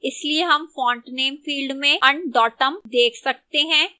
इसलिए हम font name field में undotum देख सकते हैं